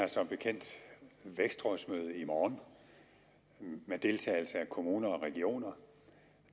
har som bekendt vækstrådsmøde i morgen med deltagelse af kommuner og regioner